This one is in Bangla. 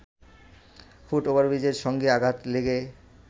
ফুট ওভারব্রিজের সঙ্গে আঘাত লেগে